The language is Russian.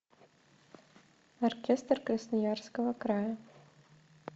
оркестр красноярского края